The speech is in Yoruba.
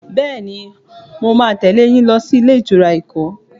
Bẹẹni, mo máa tẹle yín lọ sí ilé ìtura Èkó.